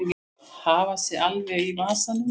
Hafa sig alveg í vasanum.